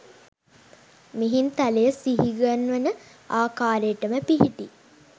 මිහින්තලය සිහිගන්වන ආකාරයටම පිහිටි